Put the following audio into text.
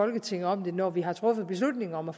folketinget om det når vi har truffet beslutning om at